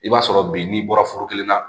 I b'a sɔrɔ bi n'i bɔra foro kelen na